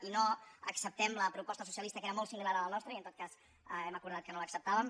i no acceptem la proposta socialista que era molt si·milar a la nostra i en tot cas hem acordat que no l’ac·ceptàvem